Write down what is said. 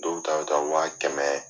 Dow ta bɛ taa wa kɛmɛ